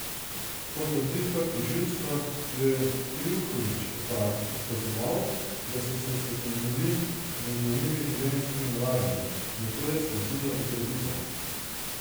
Po trditvah tožilstva jo je Trivković opazoval, da so se seznanili z njenimi življenjskimi navadami, nato je sledila ugrabitev.